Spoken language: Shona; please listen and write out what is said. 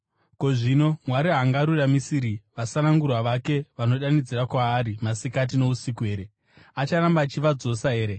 Ko, zvino Mwari haangaruramisiri vasanangurwa vake, vanodanidzira kwaari masikati nousiku here? Acharamba achivadzosa here?